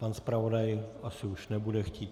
Pan zpravodaj už asi nebude chtít.